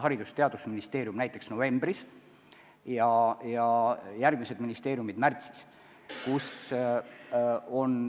Haridus- ja Teadusministeerium esitab oma analüüsi näiteks novembris ja järgmised ministeeriumid märtsis.